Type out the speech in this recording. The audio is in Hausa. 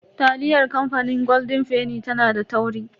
Taliyar kamfanin golden fenny tana da tauri.